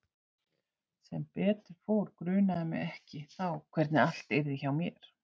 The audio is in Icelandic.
Sem betur fór grunaði mig ekki þá hvernig allt yrði hjá mér.